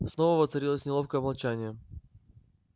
снова воцарилось неловкое молчание